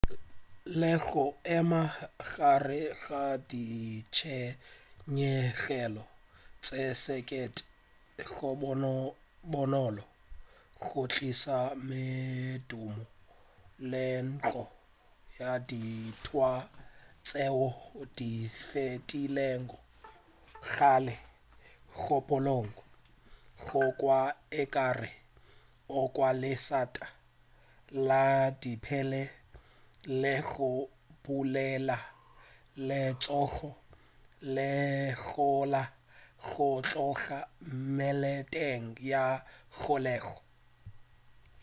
le go ema gare ga ditshenyegelo tše sekete go bonolo go tliša medumo le menkgo ya dintwa tšeo di fetilego kgale kgopolong go kwa ekare o kwa lešata la dipele le go dupelela letšhogo le gola go tloga meleteng ya kgolego